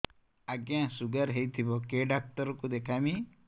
ଆଜ୍ଞା ଶୁଗାର ହେଇଥିବ କେ ଡାକ୍ତର କୁ ଦେଖାମି